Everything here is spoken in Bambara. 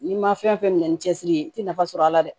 N'i ma fɛn fɛn minɛ ni cɛsiri ye i ti nafa sɔrɔ a la dɛ